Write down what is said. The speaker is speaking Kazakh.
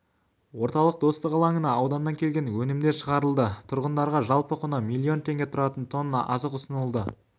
орталық достық алаңына ауданнан келген өнімдер шығарылды тұрғындарға жалпы құны миллион теңге тұратын тонна азық ұсынылды